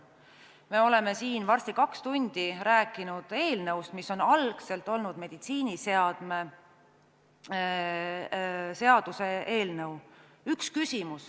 Me oleme siin varsti kaks tundi rääkinud eelnõust, mis on algselt olnud meditsiiniseadme seaduse eelnõu.